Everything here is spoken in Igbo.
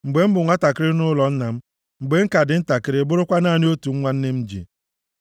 Mgbe m bụ nwantakịrị nʼụlọ nna m, mgbe m ka dị ntakịrị, bụrụkwa naanị otu nwa nne m ji,